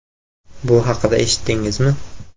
Bu haqida eshitdingizmi?